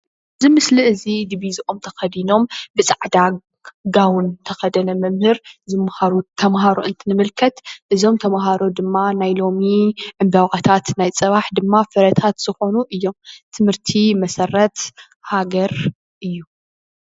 ዚ ምስሊ እዚ ዲቢዞኦም ተከዲኖም ብጻዕዳ ጋውን ተከደነ መምህር ዝማሃሩ ተምሃሮ እንትንምልከት እዞም ተምሃሮ ድማ ናይ ሎሚ ዕንበባታት ናይ ጽባሕ ድማ ፍረታት ዝኮኑ እዬም። ትምህርቲ መሰረት ሃገር እዩ።